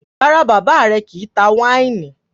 Rárá, bàbá rẹ̀ kì í tá wáìnì.